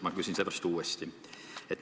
Ma küsin sellepärast uuesti.